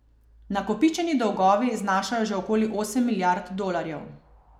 Nakopičeni dolgovi znašajo že okoli osem milijard dolarjev.